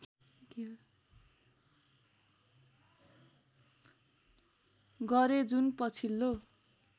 गरे जुन पछिल्लो